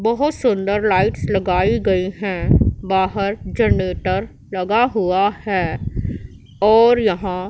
बहोत सुंदर लाइट्स लगाई गई हैं बाहर जनरेटर लगा हुआ हैं और यहां--